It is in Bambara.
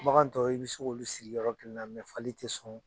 Bagan tɔw i bɛ se k'olu siri yɔrɔ kelen na fali tɛ son